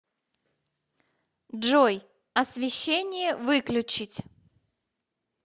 джой освещение выключить